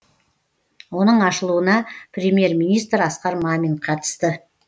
оның ашылуына премьер министр асқар мамин қатысты